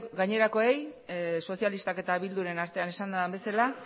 gainerakoei sozialistak eta bilduren artean esan den bezala